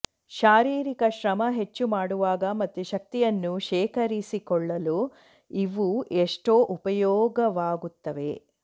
ಶಾರೀರಿಕ ಶ್ರಮ ಹೆಚ್ಚು ಮಾಡುವಾಗ ಮತ್ತೆ ಶಕ್ತಿಯನ್ನು ಶೇಕರಿಸಿಕೊಳ್ಳಲು ಇವು ಎಷ್ಟೋ ಉಪಯೋಗವಾಗುತ್ತವೆ